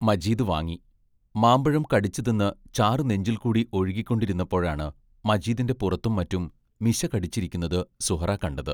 മജീദ് വാങ്ങി, മാമ്പഴം കടിച്ചു തിന്നു ചാറു നെഞ്ചിൽക്കൂടി ഒഴുകിക്കൊണ്ടിരുന്നപ്പോഴാണ് മജീദിന്റെ പുറത്തും മറ്റും മിശ കടിച്ചിരിക്കുന്നത് സുഹ്റാ കണ്ടത്.